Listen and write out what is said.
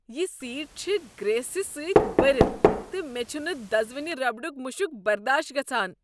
یہ سیٹ چھ گریٖسہٕ سۭتۍ بٔرتھ تہٕ مےٚ چھنہٕ دزوٕنہ ربڑک مشک برداش گژھان۔